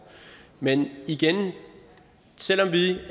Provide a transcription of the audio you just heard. men igen selv om vi